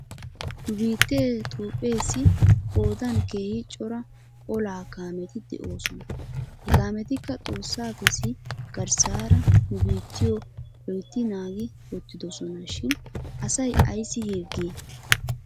Nu biittee toophpheessi qoodan keehi cora olaa kaameti de'oosona. He kaametikka xoossapps garsaara nu biittiyoo loytti naagi wottidosona shin asay ayssi hirgii?